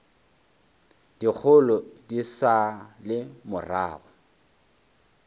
dikgolo di sa le morago